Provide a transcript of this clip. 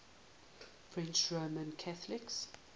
french roman catholics